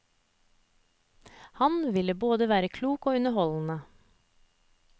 Han vil både være klok og underholdende.